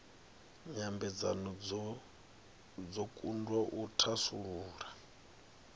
nyambedzano dzo kundwa u thasulula